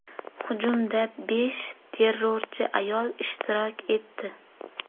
Hujumda besh terrorchi ayol ishtirok etdi.